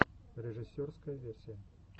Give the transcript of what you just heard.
режиссерская версия